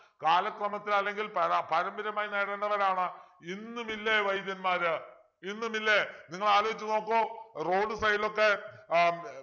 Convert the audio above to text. കാലക്രമത്തിൽ അല്ലെങ്കിൽ പരാ പാരമ്പര്യമായി നേടേണ്ടവനാണ് ഇന്നുമില്ലേ വൈദ്യന്മാര് ഇന്നുമില്ലേ നിങ്ങൾ ആലോചിച്ചു നോക്കൂ road side ലൊക്കെ ആഹ്